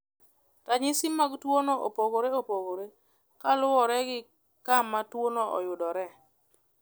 Ranyisi mag tuwono opogore opogore kaluwore gi kama tuwono oyudoree.